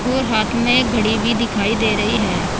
और हाथ में घड़ी भी दिखाई दे रही है।